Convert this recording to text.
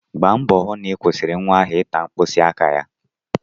Gba mbọ hụ na ị kwụsịrị nwa ahụ ịta mkpịsị aka ya!